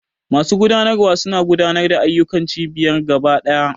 Masu gudanarwa suna gudanar da ayyukan cibiyar gaba ɗaya.